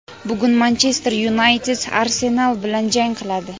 bugun "Manchester Yunayted" "Arsenal" bilan jang qiladi.